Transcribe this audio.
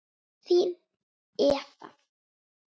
Þín, Eva.